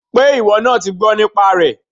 Pé ìwọ náà ti gbọ́ nípa rẹ̀